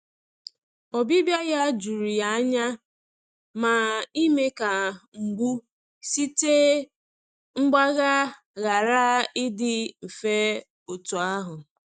Ọbịbịa ya jụrụ ya anya, ma ime ka mgbu site mgbagha ghara ịdị mfe otu ahụ.